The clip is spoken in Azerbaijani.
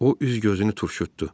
O üz gözünü turşutdu.